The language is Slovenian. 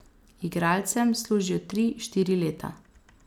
Igralcem služijo tri, štiri leta.